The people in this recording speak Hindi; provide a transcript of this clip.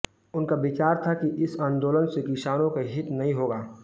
उनका विचार था कि इस आंदोलन से किसानों का हित नहीं होगा